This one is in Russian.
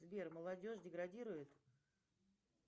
сбер молодежь деградирует